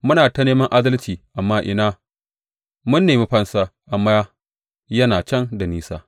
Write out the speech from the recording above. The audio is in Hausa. Muna ta neman adalci amma ina; mun nemi fansa, amma yana can da nisa.